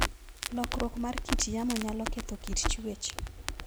Lokruok mar kit yamo nyalo ketho kit chwech.